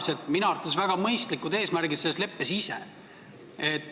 Minu arvates on sellel leppel endal väga mõistlikud eesmärgid.